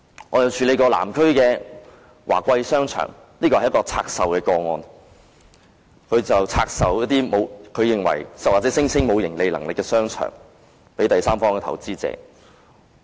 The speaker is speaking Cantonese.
我亦處理過有關南區華貴商場的個案，這是一宗拆售個案，領展拆售一些它認為或聲稱沒有盈利能力的商場給第三方投資者。